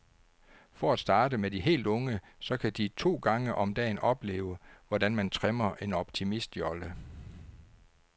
For at starte med de helt unge, så kan de to gange om dagen opleve, hvordan man trimmer en optimistjolle.